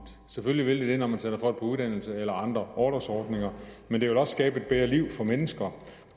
selvfølgelig vil det det når man sender folk på uddannelse eller på andre orlovsordninger men det vil også skabe et bedre liv for mennesker